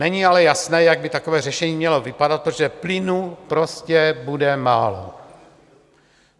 Není ale jasné, jak by takové řešení mělo vypadat, protože plynu prostě bude málo.